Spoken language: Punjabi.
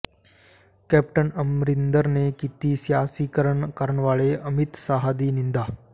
ਕੈਪਟਨ ਅਮਰਿੰਦਰ ਨੇ ਕੀਤੀ ਸਿਆਸੀਕਰਨ ਕਰਨ ਵਾਲੇ ਅਮਿਤ ਸ਼ਾਹ ਦੀ ਨਿੰਦਾ